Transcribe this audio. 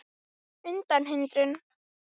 undan hindrun